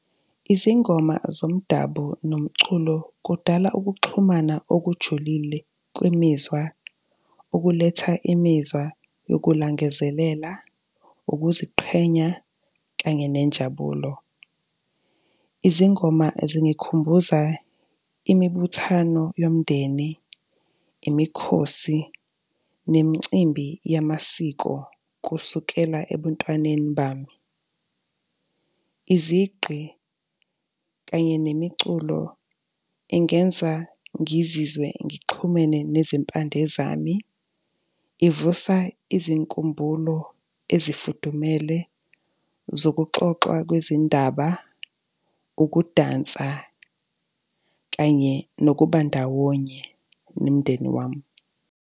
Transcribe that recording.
Izingoma zomdabu nomculo kudala ukuxhumana okujulile kwemizwa, okuletha imizwa yokulangazelela, ukuziqhenya kanye nenjabulo. Izingoma zingikhumbuza imibuthano yomndeni, imikhosi nemicimbi yamasiko kusukela ebuntwaneni bami. Izigqi kanye nemiculo, ingenza ngizizwe ngixhumene nezimpande zami, ivusa izinkumbulo ezifudumele zokuxoxwa kwezindaba, ukudansa kanye nokuba ndawonye nomndeni wami.